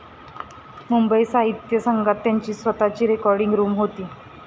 मुंबई साहित्य संघात त्यांची स्वतःची रेकॉर्डिंग रूम होती.